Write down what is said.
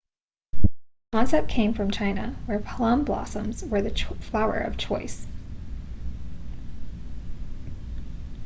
the concept came from china where plum blossoms were the flower of choice